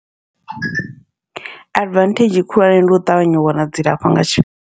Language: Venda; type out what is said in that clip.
Advantage khulwane ndi u ṱavhanya u wana dzilafho nga tshifhinga.